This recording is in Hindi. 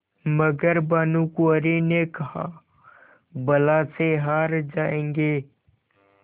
मगर भानकुँवरि ने कहाबला से हार जाऍंगे